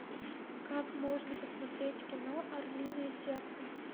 как можно посмотреть кино орлиное сердце